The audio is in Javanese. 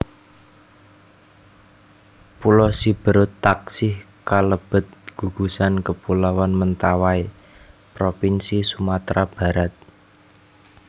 Pulo Siberut taksih kalebet gugusan kapuloan Mentawai propinsi Sumatra Barat